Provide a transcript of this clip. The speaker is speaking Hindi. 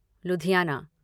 लुधियाना